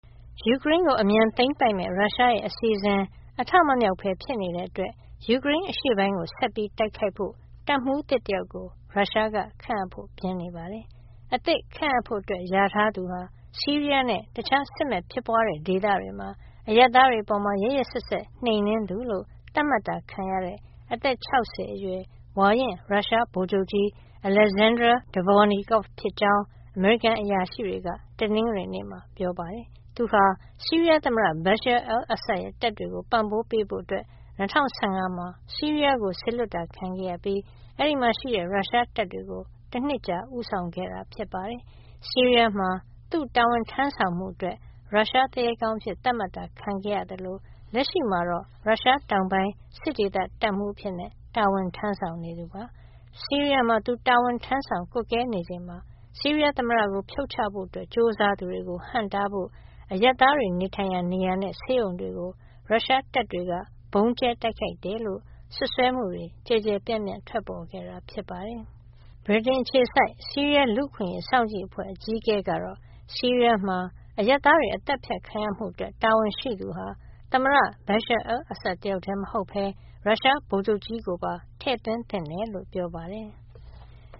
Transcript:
ယူကရိန်းကို အမြန်သိမ်းပိုက်မယ့် ရုရှားရဲ့ အစီအစဉ် အထမမြောက်ဘဲ ဖြစ်နေတဲ့အတွက် ယူကရိန်းအရှေ့ပိုင်းကို ဆက်ပြီးတိုက်ခိုက်ဖို့ တပ်မှူးသစ်တယောက်ကို ရုရှားက ခန့်အပ်ဖို့ ပြင်နေပါတယ်။ အသစ်ခန့်အပ်ဖို့ လျာထားသူဟာ ဆီးရီးယားနဲ့ တခြား စစ်မက်ဖြစ်ပွားတဲ့ ဒေသတွေမှာ အရပ်သားတွေအပေါ် ရက်ရက်စက်စက် နှိမ်နင်းသူလို့ သတ်မှတ်ခံရတဲ့ အသက် ၆၀ အရွယ် ဝါရင့် ရုရှားဗိုလ်ချုပ်ကြီး Alexander Dvornikov ဖြစ်ကြောင်း အမေရိကန် အရာရှိတွေက တနင်္ဂနွေနေ့မှာ ပြောပါတယ်။ သူဟာ ဆီးရီးယားသမ္မတ Bashar al-Assad ရဲ့ တပ်တွေကို ပံ့ပိုးပေးဖို့ ၂၀၁၅ မှာ ဆီးရီးယားကို စေလွှတ်တာ ခံခဲ့ရပြီး အဲဒီမှာရှိတဲ့ ရုရှားတပ်တွေကို တနှစ်ကြာ ဦးဆောင်ခဲ့တာ ဖြစ်ပါတယ်။ ဆီးရီးယားမှာ သူတာဝန်ထမ်းဆောင်မှုအတွက် ရုရှားသူရဲကောင်းအဖြစ် သတ်မှတ်တာ ခံခဲ့ရသလို လက်ရှိမှာတော့ ရုရှားတောင်ပိုင်း စစ်ဒေသ တပ်မှူးအဖြစ် တာဝန်ထမ်းဆောင်နေသူ ဖြစ်ပါတယ်။ ဆီးရီးယားမှာ သူတာဝန်ထမ်းဆောင် ကွပ်ကဲနေချိန်မှာ ဆီးရီးယားသမ္မတကို ဖြုတ်ချဖို့ ကြိုးစားသူတွေကို ဟန့်တားဖို့ အရပ်သားတွေ နေထိုင်ရာ နေရာနဲ့ ဆေးရုံတွေကို ရုရှားတပ်တွေက ဗုံးကြဲတိုက်ခိုက်တယ်လို့ စွပ်စွဲမှုတွေ ကျယ်ကျယ်ပြန့်ပြန့် ထွက်ပေါ်ခဲ့တာ ဖြစ်ပါတယ်။ ဗြိတိန်အခြေစိုက် ဆီးရီးယား လူ့အခွင့်အရေး စောင့်ကြည့်အဖွဲ့ အကြီးအကဲ Rami Abdulrahman ကတော့ ဆီးရီးယားမှာ အရပ်သားတွေ သတ်ဖြတ်ခံရမှုအတွက် တာဝန်ရှိသူဟာ Bashar al-Assad တယောက်တည်းမဟုတ်ဘဲ ရုရှားဗိုလ်ချုပ်ကြီးကိုပါ ထည့်သွင်းသင့်တယ်လို့ ပြောပါတယ်။